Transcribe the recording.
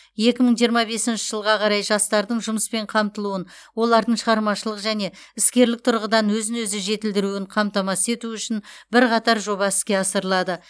екі мың жиырма бесінші жылға қарай жастардың жұмыспен қамтылуын олардың шығармашылық және іскерлік тұрғыдан өзін өзі жетілдіруін қамтамасыз ету үшін бірқатар жоба іске асырылады